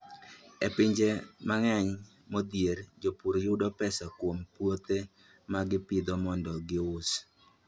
E pinje mang'eny modhier, jopur yudo pesa kuom puothe ma gipidho mondo gius.